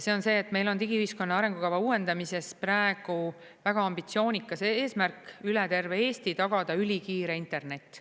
See on see, et meil on digiühiskonna arengukava uuendamises praegu väga ambitsioonikas eesmärk üle terve Eesti tagada ülikiire internet.